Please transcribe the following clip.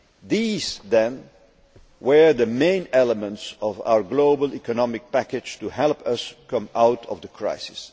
These, then, were the main elements of our global economic package to help us come out of the crisis.